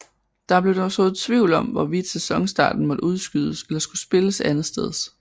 Der blev dog sået tvivl om hvorvidt sæsonstarten måtte udskydes eller skulle spilles andetsteds